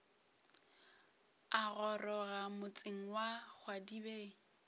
a goroga motseng wa kgwadibeng